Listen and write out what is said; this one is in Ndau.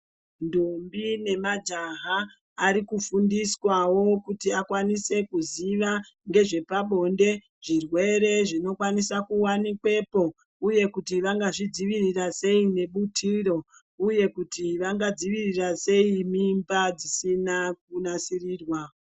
Ndombi nemajaha ari kufundiswawo kuti akwanise kuziva ngezvepabonde zvirwere zvinokwanisa kuwanikwepo uye kuti vangazvidzivirira sei ngebutiro, uye kuti vangadzivirira sei mimba dzisina kunasirirwa.